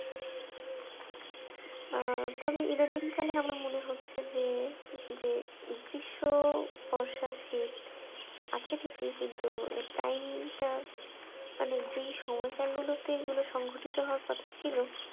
আহ তবে ইদানিংকালিন আমার মনে হচ্ছে যে যে গ্রীষ্ম, বর্ষা, শীত আছেই ঠিকই কিন্তু এর time টা মানে যে সময়কাল গুলোতে এগুলো সংঘটিত হওয়ার কথা ছিল